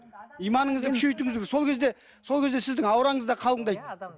иманыңызды күшейтуіңіз керек сол кезде сол кезде сіздің аураңыз да қалыңдайды